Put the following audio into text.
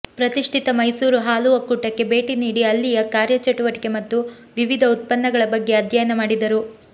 ಪ್ರತಿಷ್ಠಿತ ಮೈಸೂರು ಹಾಲು ಒಕ್ಕೂಟಕ್ಕೆ ಭೇಟಿ ನೀಡಿ ಅಲ್ಲಿಯ ಕಾರ್ಯ ಚಟುವಟಿಕೆ ಮತ್ತು ವಿವಿಧ ಉತ್ಪನ್ನಗಳ ಬಗ್ಗೆ ಅಧ್ಯಯನ ಮಾಡಿದರು